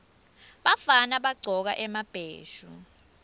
bafana bagcoka emabheshu